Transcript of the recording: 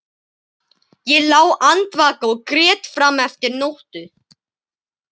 Ég lá andvaka og grét fram eftir nóttu.